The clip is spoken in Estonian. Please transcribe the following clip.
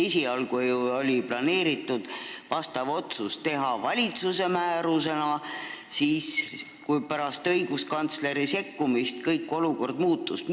Esialgu oli ju planeeritud see otsus teha valitsuse määrusena, aga pärast õiguskantsleri sekkumist olukord muutus.